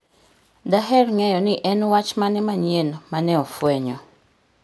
Daher ng'eyo ni en wach mane manyien ma ne ofwenyno